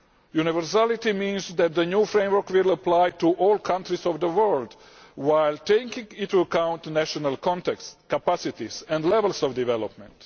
Universality means that the new framework will apply to all countries of the world, while taking into account national contexts, capacities and levels of development.